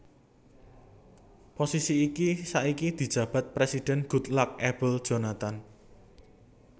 Posisi iki saiki dijabat Présidhèn Goodluck Ebele Jonathan